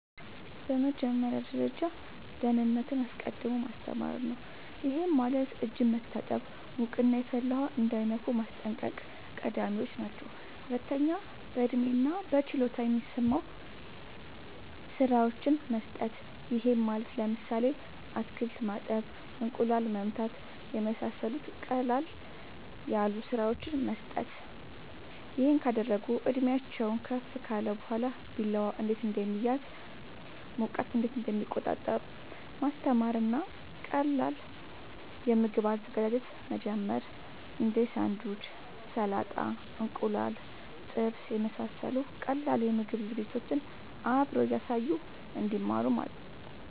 በመጀመሪያ ደረጃ ደህንነትን አስቀድሞ ማስተማር ነዉ ይሄም ማለት እጅን መታጠብ ሙቅና የፈላ ውሃ እንዳይነኩ ማስጠንቀቅ ቀዳሚወች ናቸው ሁለተኛ በእድሜና በችሎታ የሚስማሙ ስራወችን መስጠት ይሄም ማለት ለምሳሌ አትክልት ማጠብ እንቁላል መምታት የመሳሰሉት ቀለል ያሉ ስራወችን መስጠት ይሄን ካደረጉ እድሜአቸውም ከፍ ካለ በኋላ ቢላዋ እንዴት እንደሚያዝ ሙቀት እንዴት እንደሚቆጣጠሩ ማስተማር እና ከቀላል የምግብ አዘገጃጀት መጀመር እንዴ ሳንዱች ሰላጣ እንቁላል ጥብስ የመሳሰሉት ቀላል የምግብ ዝግጅቶችን አብሮ እያሳዩ እንድማሩ ማድረግ